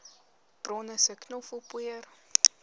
bronne sê knoffelpoeier